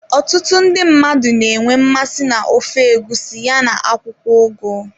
Ọtụtụ ndị mmadụ na-enwe mmasị na ofe egusi ya na akwụkwọ ugu.